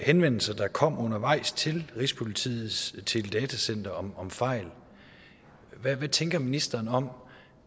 henvendelser der kom undervejs til rigspolitiets telecenter om om fejl hvad tænker ministeren om